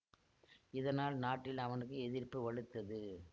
இதனால் நாட்டில் அவனுக்கு எதிர்ப்பு வலுத்தது